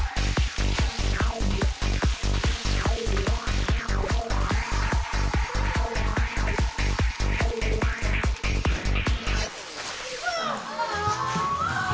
var